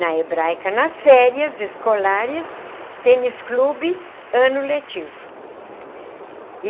Na Hebraica, nas férias escolares, tênis clube ano letivo.